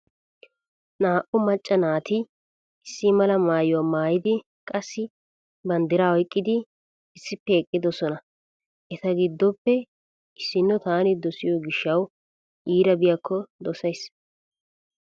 Naa"u macca naati issi mala maayuwa maayidi qassi banddira oyqqidi issippe eqqidosona. Eta giddoppe issinno taani dosiyo gishshawu iira biyakko dosays.